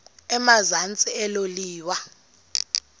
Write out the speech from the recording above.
emazantsi elo liwa